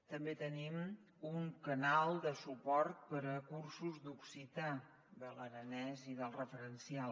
també tenim un canal de suport per a cursos d’occità de l’aranès i del referencial